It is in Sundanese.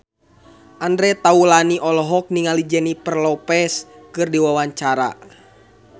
Andre Taulany olohok ningali Jennifer Lopez keur diwawancara